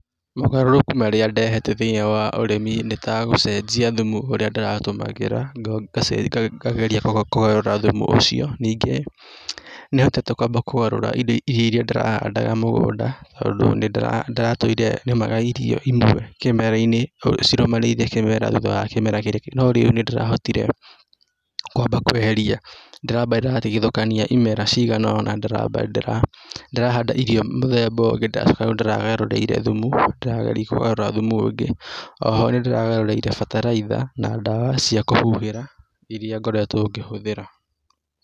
Mogarũrũku marĩa ndehete thĩiniĩ wa ũrĩmi nĩ ta gũcenjia thumu ũrĩa ndĩratũmagĩra ngageria kũgarũra thumu ũcio, ningĩ nĩhotete kwamba kũgarũra indo iria ndĩrahandaga mũgũnda tondũ nĩndĩratũire nĩmaga irio imwe kĩmera-inĩ cĩrũmanĩrĩire kĩmera thutha wa kĩmera, no rĩu nĩndĩrahotire kwamba kweheria ndĩramba ndĩratigithũkania imera ciganona, ndĩramba ndĩrahanda irio mũthemba ũngĩ ndĩracoka rĩu ndĩragarũrĩire thumu, ndĩrageria kũgarũra thumu ũngĩ. O ho nĩndĩragarũrĩire bataraitha, na dawa cia kũhuhĩra iria ngoretwo ngĩhũthĩra.